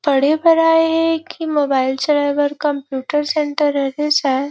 पढ़े बर आये हे की मोबाइल चलाये बर कंप्यूटर सेंटर हरे सायद--